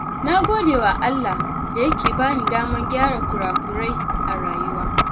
Na gode wa Allah da Yake bani damar gyara kurakurai a rayuwa.